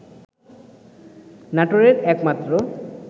নাটোরের একমাত্র